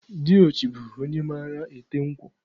Diochi bụ onye mara ete nkwụ.